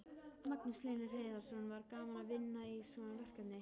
Magnús Hlynur Hreiðarsson: Var gaman að vinna í svona verkefni?